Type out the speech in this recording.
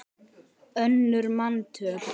önnur manntöl